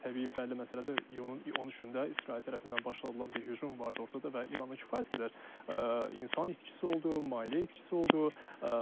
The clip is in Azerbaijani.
Təbii bəlli məsələdir, iyunun 13-də İsrail tərəfindən başlayan bir hücum vardı ortada və İranın kifayət qədər insan itkisi oldu, maliyyə itkisi oldu.